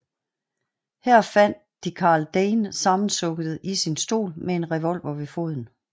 Her fandt de Karl Dane sammensunket i sin stol med en revolver ved foden